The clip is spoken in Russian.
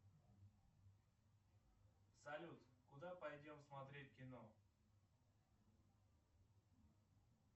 салют куда пойдем смотреть кино